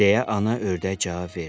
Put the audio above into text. Deyə ana ördək cavab verdi.